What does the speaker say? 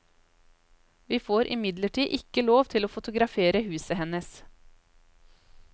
Vi får imidlertid ikke lov til å fotografere huset hennes.